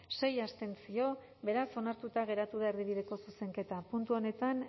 sei abstentzio beraz onartuta geratu da erdibideko zuzenketa puntu honetan